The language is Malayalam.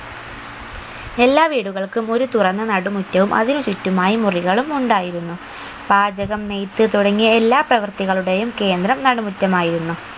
എല്ലാ വീടുകൾക്കും ഒരു തുറന്ന നടുമുറ്റവും അതിനു ചുറ്റുമായി മുറികളും ഉണ്ടായിരുന്നു പാചകം നെയ്ത്ത് തുടങ്ങിയ എല്ലാ പ്രവർത്തികളുടെയും കേന്ദ്രം നടുമുറ്റമായിരുന്നു